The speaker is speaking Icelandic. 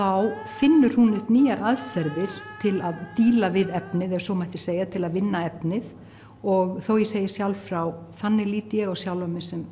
finnur hún upp nýjar aðferðir til að díla við efnið ef svo má segja til að vinna efnið og þó ég segi sjálf frá þannig lít ég á sjálfa mig sem